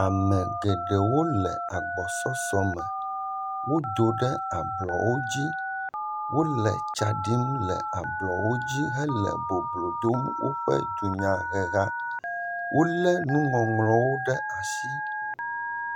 Ame geɖewo le agbɔsɔsɔ me. Wodo ɖe ablɔwo dzi wo le tsa ɖim le ablɔwo dzi hele boblo dom woƒe dunyaheha. Wo le nuŋɔŋlɔwo ɖe asi.